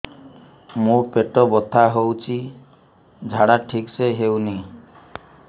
ମୋ ପେଟ ବଥା ହୋଉଛି ଝାଡା ଠିକ ସେ ହେଉନି